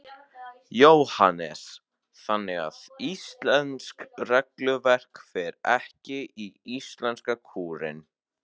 Jóhannes: Þannig að íslenskt regluverk fer ekki í íslenska kúrinn?